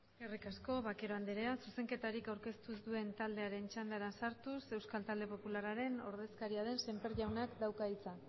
eskerrik asko vaquero andrea zuzenketarik aurkeztu ez duen taldeen txandara sartuz euskal talde popularraren ordezkaria den semper jaunak dauka hitza